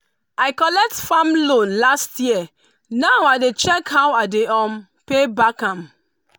i collect farm loan last year now i dey check how i dey um pay back am.